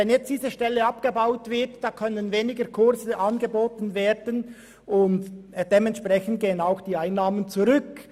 Wenn nun diese Stelle abgebaut wird, können weniger Kurse angeboten werden, und dementsprechend gehen auch die Einnahmen zurück.